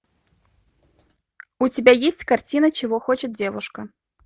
у тебя есть картина чего хочет девушка